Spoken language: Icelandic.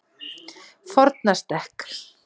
Fornastekk